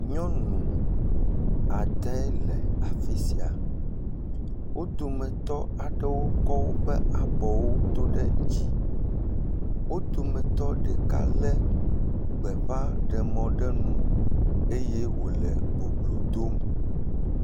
Nyɔnu ade le afi sia, wo dometɔ aɖewo kɔ abɔwo do ɖe dzi. Wo dometɔ ɖeka lé gbeƒaɖemɔ ɖe nu eye wòle boblo dom.